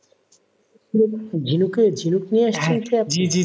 ঝিনুকের ঝিনুক নিয়ে আসছেন কি আপনি?